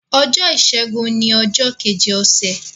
ọjọ Ọjọ́ Ìsẹ́gun ní ojó Kejì Ose.